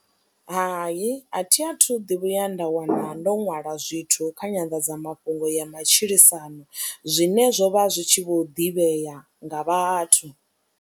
Hai, a thi a thu ḓi vhuya nda wana ndo ṅwala zwithu kha nyanḓadzamafhungo ya matshilisano zwine zwo vha zwi tshi vho ḓivhea nga vhathu.